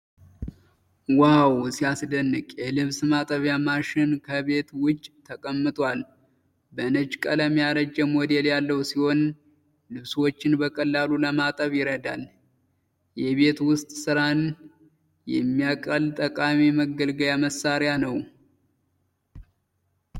ዋው ሲያስደንቅ! የልብስ ማጠቢያ ማሽን ከቤት ውጪ ተቀምጧል ። በነጭ ቀለም ያረጀ ሞዴል ያለው ሲሆን ፣ ልብሶችን በቀላሉ ለማጠብ ይረዳል። የቤት ውስጥ ሥራን የሚያቀል ጠቃሚ መገልገያ መሳሪያ ነው !!።